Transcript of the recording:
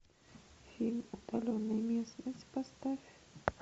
фильм удаленная местность поставь